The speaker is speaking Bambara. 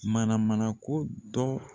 Mana mana ko dɔ